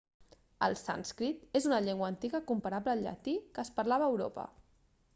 el sànscrit és una llengua antiga comparable al llatí que es parlava a europa